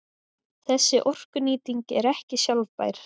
Þessi orkunýting er ekki sjálfbær.